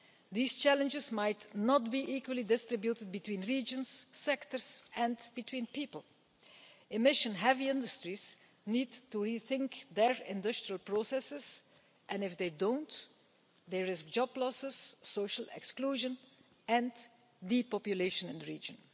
These challenges might not be equally distributed between regions, sectors and between people. Emission heavy industries need to rethink their industrial processes, and if they don't, there are job losses, social exclusion and depopulation in the region.